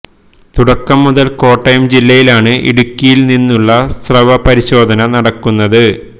തുടക്കം മുതൽ കോട്ടയം ജില്ലയിൽ ആണ് ഇടുക്കിയിൽ നിന്നുമുള്ള സ്രവ പരിശോധന നടക്കുന്നത്